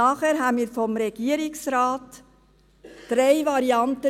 Nachher erhielten wir vom Regierungsrat drei Varianten: